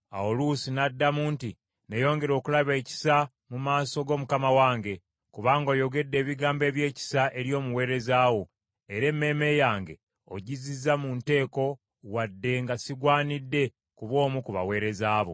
Awo Luusi n’addamu nti, “Nneeyongere okulaba ekisa mu maaso go mukama wange, kubanga oyogedde ebigambo ebyekisa eri omuweereza wo era emmeeme yange ogizizza mu nteeko wadde nga sigwanira kuba omu ku baweereza bo.”